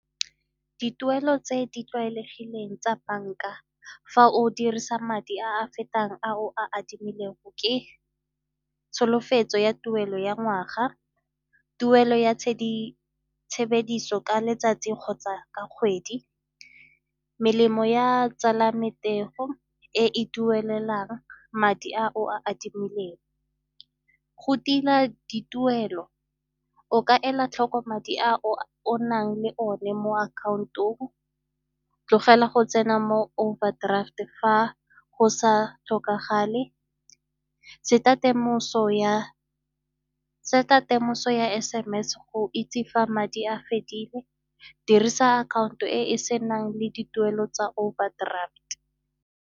Dituelo tse di tlwaelegileng tsa banka fa o dirisa madi a fetang a o a adimilego ke tsholofetso ya tuelo ya ngwaga, tuelo ya tshebediso ka letsatsi kgotsa ka kgwedi, melemo ya tsala e e duelelwang madi a o a adimileng. Go tila dituelo o ka ela tlhoko madi a o nang le one mo account-ong, tlogela go tsena mo overdraft-e fa go sa tlhokagale, set-a temoso ya S_M_S-e go itse fa madi a fedile, dirisa akhaonto e e senang le dituelo tsa overdraft.